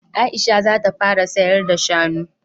Aisha za ta fara sayar da shanu